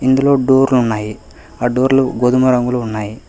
ఇందులో డోర్లు ఉన్నాయి ఆ డోర్లు గోధుమ రంగులో ఉన్నాయి.